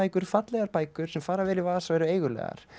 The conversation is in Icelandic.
fallegar bækur sem fara vel í vasa og eru eigulegar